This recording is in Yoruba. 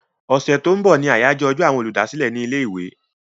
Ọ̀sẹ̀ tó ń bọ̀ ni àyájọ́ ọjọ́ àwọn olùdásílẹ̀ ní ilé-ìwé.